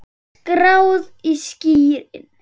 Skráð í skýin.